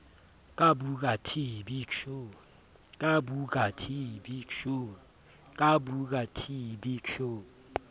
ka booker t big show